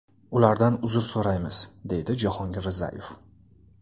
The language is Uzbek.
Ulardan uzr so‘raymiz, deydi Jahongir Rizayev.